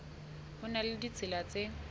ho na le ditsela tse